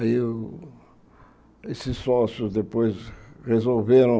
Eu, esses sócios depois resolveram